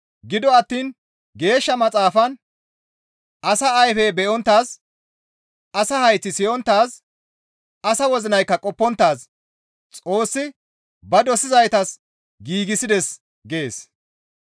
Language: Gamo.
Gido attiin Geeshsha Maxaafan, «Asa ayfey be7onttaaz, asa hayththi siyonttaaz, asa wozinaykka qopponttaaz Xoossi ba dosizaytas giigsides» gees.